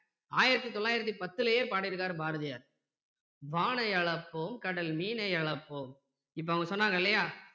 ஆயிரத்தி தொள்ளாயிரத்தி பத்துலயே பாடி இருக்காரு பாரதியார் வானை அளப்போம் கடல் மீனை அளப்போம்